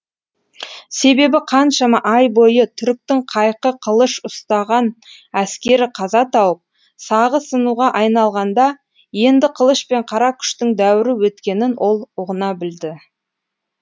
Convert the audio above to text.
себебі қаншама ай бойы түріктің қайқы қылыш ұстаған әскері қаза тауып сағы сынуға айналғанда енді қылыш пен қара күштің дәуірі өткенін ол ұғына білді